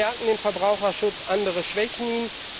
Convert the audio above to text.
Manche stärken den Verbraucherschutz, andere schwächen ihn.